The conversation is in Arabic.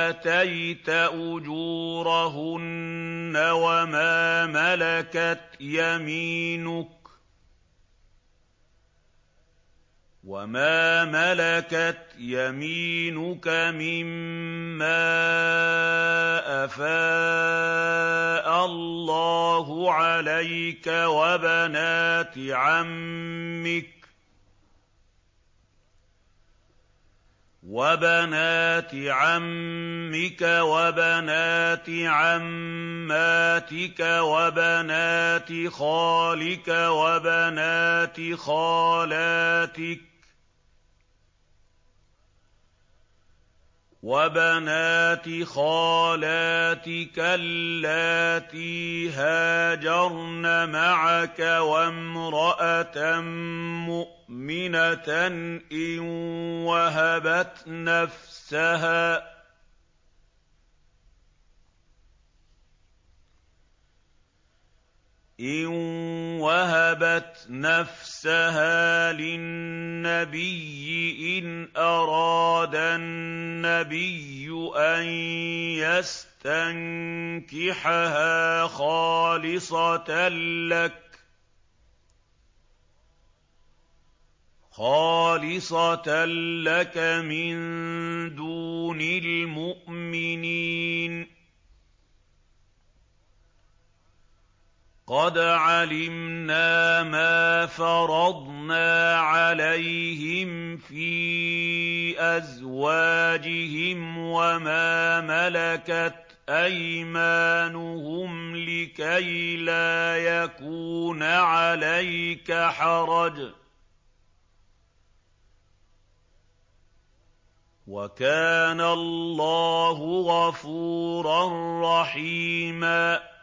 آتَيْتَ أُجُورَهُنَّ وَمَا مَلَكَتْ يَمِينُكَ مِمَّا أَفَاءَ اللَّهُ عَلَيْكَ وَبَنَاتِ عَمِّكَ وَبَنَاتِ عَمَّاتِكَ وَبَنَاتِ خَالِكَ وَبَنَاتِ خَالَاتِكَ اللَّاتِي هَاجَرْنَ مَعَكَ وَامْرَأَةً مُّؤْمِنَةً إِن وَهَبَتْ نَفْسَهَا لِلنَّبِيِّ إِنْ أَرَادَ النَّبِيُّ أَن يَسْتَنكِحَهَا خَالِصَةً لَّكَ مِن دُونِ الْمُؤْمِنِينَ ۗ قَدْ عَلِمْنَا مَا فَرَضْنَا عَلَيْهِمْ فِي أَزْوَاجِهِمْ وَمَا مَلَكَتْ أَيْمَانُهُمْ لِكَيْلَا يَكُونَ عَلَيْكَ حَرَجٌ ۗ وَكَانَ اللَّهُ غَفُورًا رَّحِيمًا